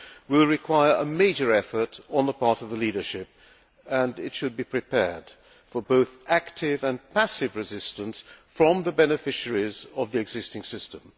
will require a major effort on the part of the leadership, and it should be prepared for both active and passive resistance from the beneficiaries of the existing system.